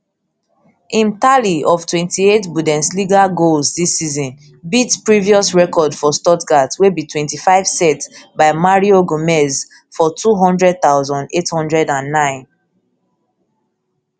im tally of twenty-eight bundesliga goals dis season beat previous record for stuttgart wey be twenty-five set by mario gmez for two hundred thousand, eight hundred and nine